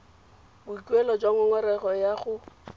boikuelo jwa ngongorego ya go